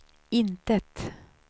intet